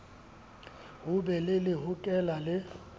ho be le lehokela le